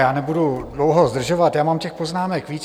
Já nebudu dlouho zdržovat, já mám těch poznámek víc.